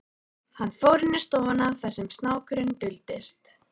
Hann fór inn í stofuna þar sem snákurinn duldist.